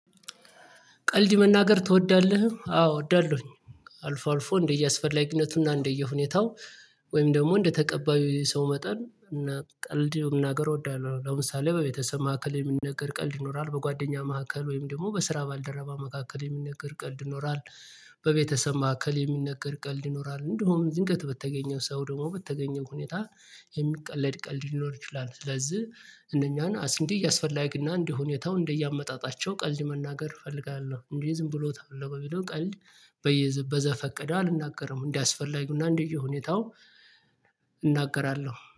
ቀልድ መናገር ትወዳለህ? አዎ እወዳለሁኝ አልፎ አልፎ እንደየስፈላጊነቱና እንደየሁኔታው ወይም ደግሞ እንደተቀባዩ ሰው መጠን እና ቀልድ የሆነ ሀገር እወዳለሁ ለምሳሌ በቤተሰብ ማዕከል የሚነገር ቀልድ ይኖራል በጓደኛ ማዕከል ወይም ደግሞ በስራ ባልደረባ መካከል የሚነገር ቀልድ ይኖራል፤ በቤተሰብ ማዕከል የሚነገር ቀልድ ይኖራል፤ እንደውም ዝንገት በተገኘው ሰው ደግሞ በተገኘው ሁኔታ የሚቀለድ ቀልድ ይኖር ይችላል፤ ስለዚህ እነኛን አስንዲ እያስፈላጊና እንዲህ ሁኔታው እንደየአመጣጣቸው ቀልድ መናገር እፈልጋለሁ፤ እንዴ ዝም ብሎ ተፈለጎ ቢለው ቀልድ በየ በዘፈቀደው አልናገርም እንዲህ አስፈላጊው እና እንደየሁኔታው ሁኔታው እናገራለሁ።